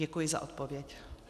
Děkuji za odpověď.